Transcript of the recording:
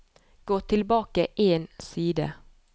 Gå tilbake én side